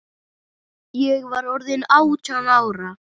Ég var orðin átján ára.